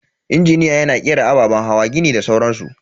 Injiniya yana kera ababen hawa, gini da sauran su.